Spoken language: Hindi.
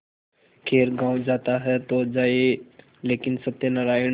खैर गॉँव जाता है तो जाए लेकिन सत्यनारायण